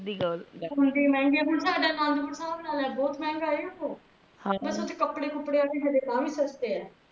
ਗਲਤ ਆ ਹੁੰਦੀ ਹੁਣ ਜੇ ਮੇਹੰਗੇ ਆ ਸਾਡਾ ਆਨੰਦਪੁਰ ਸਾਹਿਬ ਲਾ ਲੈ ਬੋਹਤ ਮਹਂਗਾ ਹੈ ਓਹੋ ਕੱਪੜੇ ਕੁਪੜੇ ਹੱਲੇ ਤਾ ਵੀ ਸਸਤੇ ਐ